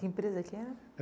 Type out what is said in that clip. Que empresa que era?